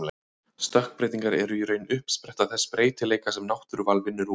Stökkbreytingar eru í raun uppspretta þess breytileika sem náttúruval vinnur úr.